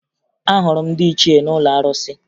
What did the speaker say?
Ahụrụ m ndị ichie n'ụlọ arụsị